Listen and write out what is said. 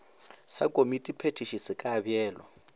sa komitiphethiši se ka beelwa